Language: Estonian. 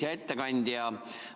Hea ettekandja!